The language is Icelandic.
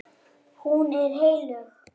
Hún er heilög.